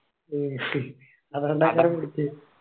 അതോണ്ടാ അങ്ങന പിടിച്ചേ